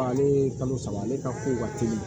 Ale ye kalo saba ale ka ko ka teli